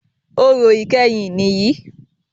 Orò ìkẹyìn nìyí.